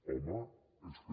home és que